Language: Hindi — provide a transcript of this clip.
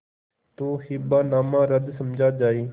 तो हिब्बानामा रद्द समझा जाय